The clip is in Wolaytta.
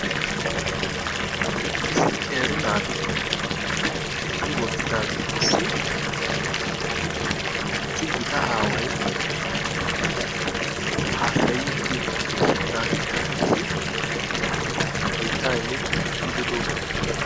Issi qeeri naati eqqi wottidagetussi issi gita aaway haasayiiddi de'ees. Naatikka qassi hayttaa immidi ezzgiidi doosona.